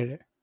ഏഴെ.